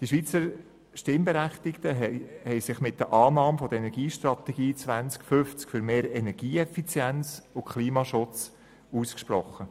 Die Schweizer Stimmberechtigten haben sich mit der Annahme der Energiestrategie 2050 für mehr Energieeffizienz und Klimaschutz ausgesprochen.